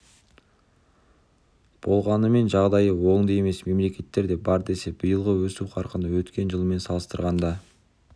болғанымен жағдайы оңды емес мемлекеттер де бар десе де биылғы өсу қарқыны өткен жылмен салыстырғанда